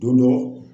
Don dɔ